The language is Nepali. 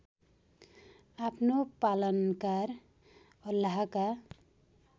आफ्नो पालनकार अल्लाहका